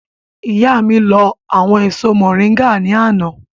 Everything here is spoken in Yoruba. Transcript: Ìyá mi lọ àwọn èso mọ̀ríńgà ní àná